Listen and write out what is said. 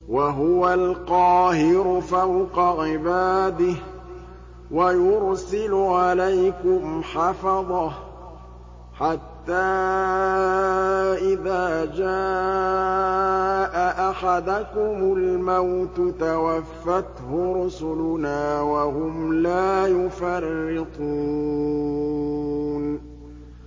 وَهُوَ الْقَاهِرُ فَوْقَ عِبَادِهِ ۖ وَيُرْسِلُ عَلَيْكُمْ حَفَظَةً حَتَّىٰ إِذَا جَاءَ أَحَدَكُمُ الْمَوْتُ تَوَفَّتْهُ رُسُلُنَا وَهُمْ لَا يُفَرِّطُونَ